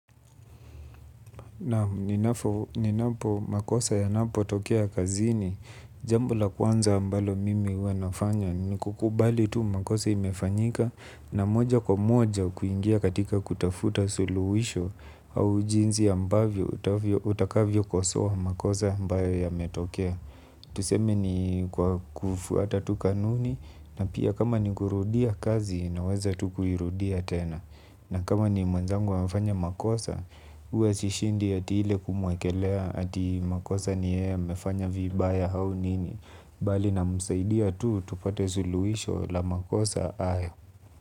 Nam ninapo makosa yanapotokea kazini. Jambo la kwanza ambalo mimi huwa nafanya ni kukubali tu makosa imefanyika. Na moja kwa moja kuingia katika kutafuta suluhisho. Au jinsi ambavyo utakavyokosoa makosa ambayo yametokea. Tuseme ni kwa kufuata tu kanuni. Na pia kama ni kurudia kazi naweza tu kuirudia tena. Na kama ni mwenzangu amefanya makosa huwe sishindi ati ile kumwekelea ati makosa ni yeye amefanya vibaya au nini. Bali namsaidia tu tupate suluisho la makosa hayo.